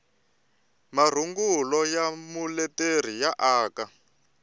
marungulo ya muleteri ya aka